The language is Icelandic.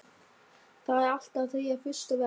Það er alltaf þeirra fyrsta verk.